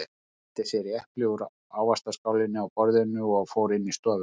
Hann nældi sér í epli úr ávaxtaskálinni á borðinu og fór inn í stofu.